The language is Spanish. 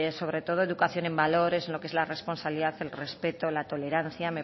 sobre todo educación en valores lo que es la responsabilidad el respeto la tolerancia